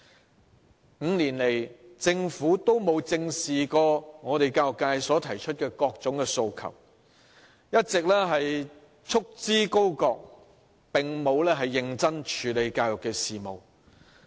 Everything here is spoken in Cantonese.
政府5年來都沒有正視過教育界提出的各種訴求，一直束之高閣，並沒有認真處理教育事務。